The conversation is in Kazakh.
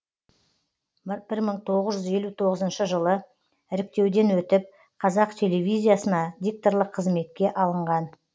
бір мың тоғыз жүз елу тоғызыншы жылы іріктеуден өтіп қазақ телевизиясына дикторлық қызметке алынған